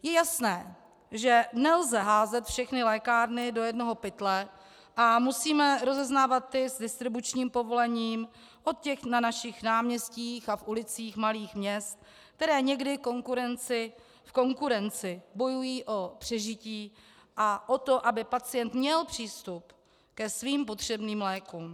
Je jasné, že nelze házet všechny lékárny do jednoho pytle a musíme rozeznávat ty s distribučním povolením od těch na našich náměstích a v ulicích malých měst, které někdy v konkurenci bojují o přežití a o to, aby pacient měl přístup ke svým potřebným lékům.